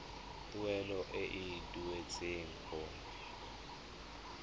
tuelo e e duetsweng go